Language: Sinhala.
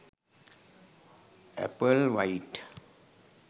apple white